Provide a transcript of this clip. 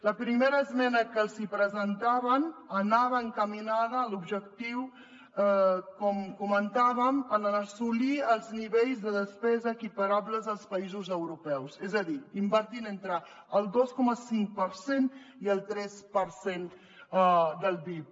la primera esmena que els hi presentàvem anava encaminada l’objectiu com comentàvem a assolir els nivells de despesa equiparables als països europeus és a dir invertint entre el dos coma cinc per cent i el tres per cent del pib